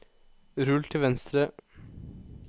rull til venstre